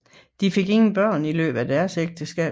De fik ingen børn i løbet af deres ægteskab